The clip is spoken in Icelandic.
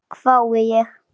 hvái ég.